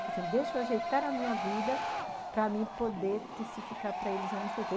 Falei assim, deixa eu ajeitar a minha vida para mim poder se ficar para eles aonde que eu